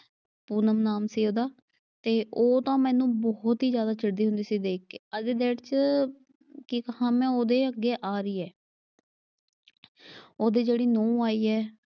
ਪੂਨਮ ਨਾਮ ਸੀ ਉਹਦਾ ਤੇ, ਉਹ ਤਾਂ ਮੈਨੂੰ ਬਹੁਤ ਈ ਜਿਆਦਾ ਚਿੜਦੀ ਹੁੰਦੀ ਸੀ ਦੇਖ ਕੇ। ਅੱਜ ਦੀ ਡੇਟ ਚ ਕੀ ਕਹਾਂ ਮੈਂ ਉਹਦੇ ਅੱਗੇ ਆ ਰਹੀ ਏ ਉਹਦੀ ਜਿਹੜੀ ਨੂੰਹ ਆਈ ਏ।